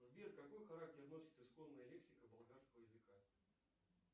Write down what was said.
сбер какой характер носит исконная лексика болгарского языка